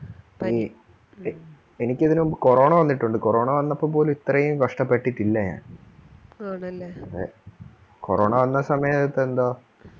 ഈ ഇ എനിക്ക് ഇതിനു മുമ്പ് corona വന്നിട്ടുണ്ട് corona വന്നപ്പോൾ പോലും ഇത്രേ കഷ്ടപെട്ടട്ടില്ല ഞാൻ ആണല്ലേ വന്ന സമയത്തു എന്തോ